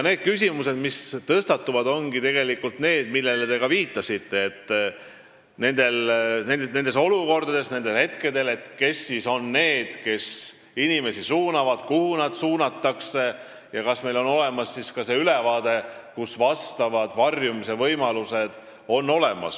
Küsimused, mis tõstatuvad, ongi tegelikult sellised, millele ka teie viitasite – kes siis on nendes olukordades, nendel hetkedel need, kes inimesi suunavad, kuhu nad suunatakse ja kas meil on olemas ülevaade, millised on varjumise võimalused.